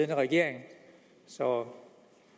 hvad regeringen så